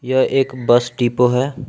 यह एक bus depot है।